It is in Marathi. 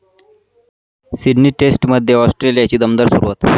सिडनी टेस्टमध्ये ऑस्ट्रेलियाची दमदार सुरुवात